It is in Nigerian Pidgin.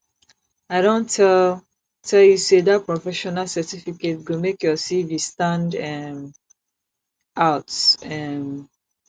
i don tell tell you sey dat professional certificate go make your cv stand um out um